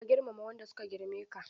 Ka girmama wanda suka girme ka.